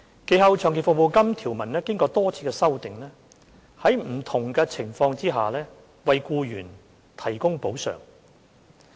其後，長期服務金條文經多次修訂，在不同的情況下，為僱員提供補償。